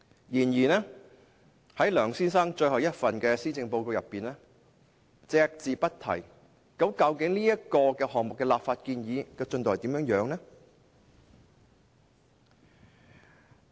然而，梁先生任內的最後一份施政報告卻對此隻字不提，究竟這項立法建議的進度如何？